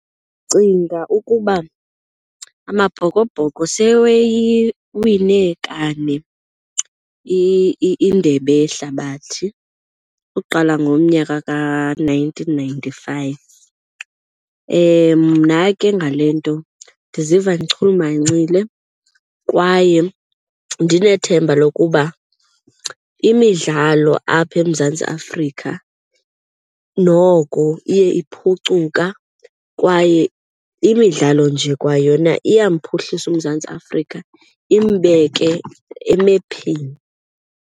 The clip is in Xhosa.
Ndicinga ukuba Amabhokobhoko seweyiwine kane indebe yehlabathi ukuqala ngomnyaka ka-nineteen ninety-five. Mna ke ngale nto ndiziva ndichulumancile kwaye ndinethemba lokuba imidlalo apha eMzantsi Afrika noko iye iphucuka kwaye imidlalo nje kwayona iyamphuhlisa uMzantsi Afrika imbeke emephini.